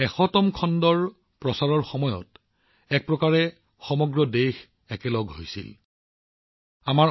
শততম খণ্ডৰ সম্প্ৰচাৰৰ সময়ত এক প্ৰকাৰে সমগ্ৰ দেশ যেন একেডাল সূতাৰে বান্ধ খাইছিল